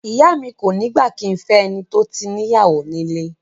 Ìyá mi kò ní gbà kí n fẹ́ ẹni tó tí níyàwó nílé